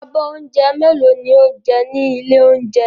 Abọ́ oúnjẹ mélòó ni ó jẹ ní ilé-oúnjẹ?